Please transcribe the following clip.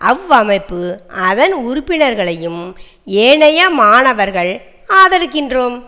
அவ்வமைப்பு அதன் உறுப்பினர்களையும் ஏனைய மாணவர்கள் ஆதரிக்கின்றோம்